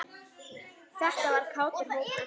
Þetta var kátur hópur.